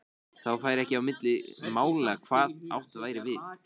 Þá færi ekki á milli mála hvað átt væri við.